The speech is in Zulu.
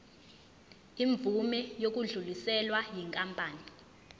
imvume yokudluliselwa yinkampani